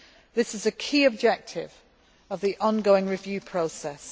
This is a key objective of the ongoing review process.